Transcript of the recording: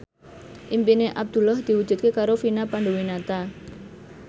impine Abdullah diwujudke karo Vina Panduwinata